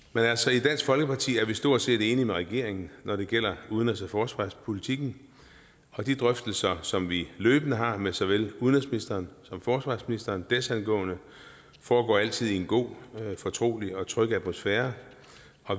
i dansk folkeparti er vi stort set enige med regeringen når det gælder udenrigs og forsvarspolitikken og de drøftelser som vi løbende har med såvel udenrigsministeren som forsvarsministeren desangående foregår altid i en god fortrolig og tryg atmosfære